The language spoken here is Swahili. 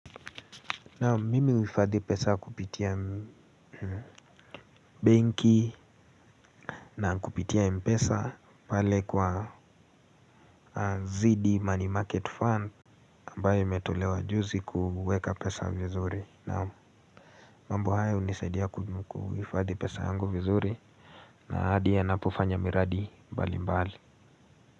Naam mimi huhifadhi pesa kupitia benki na kupitia mpesa pale kwa ziidi money market fund ambayo imetolewa juzi kuweka pesa vizuri naam mambo haya hunisaidia kuhifadhi pesa yangu vizuri na ahadi yanapofanya miradi mbalimbali.